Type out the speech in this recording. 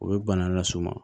O bɛ bana lase u ma